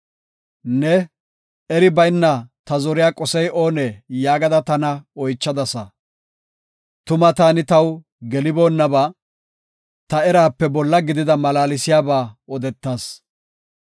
Ne, ‘Eri bayna ta zoriya qosey oonee?’ yaagada tana oychadasa; tuma taani taw geliboonnaba, ta eraape bolla gidida malaalsiyaba odetas.